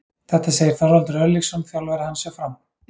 Þetta segir Þorvaldur Örlygsson, þjálfari hans hjá Fram.